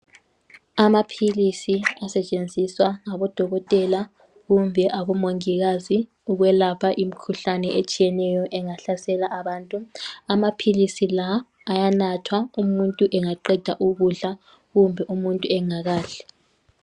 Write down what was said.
Amaphilisi asetshenziswa ngabodokotela kumbe abomongikazi ukwelapha imkhuhlane etshiyeneyo engahlasela abantu. Amaphilisi la ayanathwa umuntu engaqeda ukudla kumbe umuntu engakadli.